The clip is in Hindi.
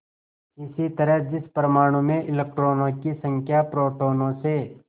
इसी तरह जिस परमाणु में इलेक्ट्रॉनों की संख्या प्रोटोनों से